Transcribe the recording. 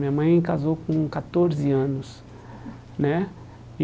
Minha mãe casou com catorze anos né e.